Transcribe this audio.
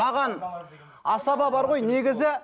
маған асаба бар ғой негізі